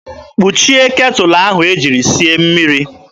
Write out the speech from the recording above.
Kpuchie ketụlụ ahụ e jiri sie mmiri!